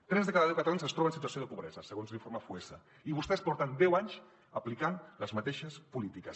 tres de cada deu catalans es troben en situació de pobresa segons l’informe foessa i vostès porten deu anys aplicant les mateixes polítiques